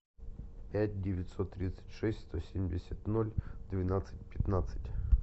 пять девятьсот тридцать шесть сто семьдесят ноль двенадцать пятнадцать